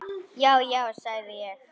Já, já, segi ég.